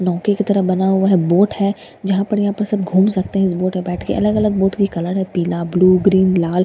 नोके की तरह बना हुआ बोट है जहाँ पर यहाँ पर सब घूम सकते हैं इस बोट में बैठ के अलग-अलग बोट के कलर है पीला ब्‍लू ग्रीन लाल --